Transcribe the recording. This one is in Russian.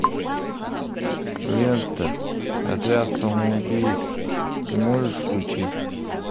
лента отряд самоубийц ты можешь включить